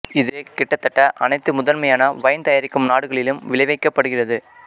இது கிட்டத்தட்ட அனைத்து முதன்மையான வைன் தயாரிக்கும் நாடுகளிலும் விளைவிக்கப்படுகிறது